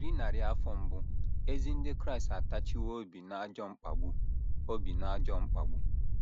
Eri narị afọ mbụ, ezi ndị Kraịst atachiwo obi n’ajọ mkpagbu obi n’ajọ mkpagbu.